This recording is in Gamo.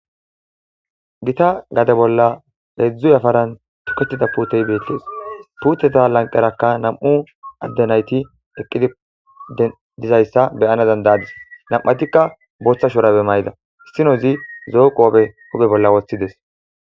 gita gade bolla hedzdzu yafaran toketida puutey beettees puuteta lanqerakka nam'u addenayti eqqidi dizayssa be'ana dandaadis nam'atikka booththa shurabe mayda issinozi zo'o qoobe huphe bolla woththides